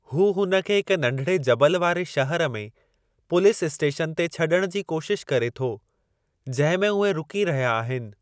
हू हुन खे हिक नंढिड़े जबल वारे शहर में पुलीस इस्टेशन ते छॾण जी कोशिश करे थो, जंहिं में उहे रुकी रहिया आहिनि।